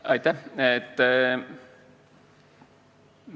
Aitäh!